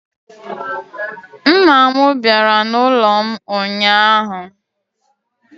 Nna m bịara n'ụlọ m ụnyahụ